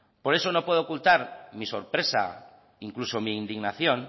por eso no puedo ocultar mi sorpresa incluso mi indignación